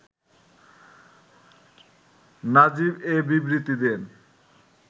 নাজিব এ বিবৃতি দেন